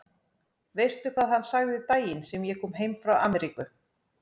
Veistu hvað hann sagði daginn sem ég kom heim frá Ameríku?